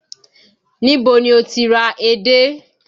Ni bo ni ó ti ra edé?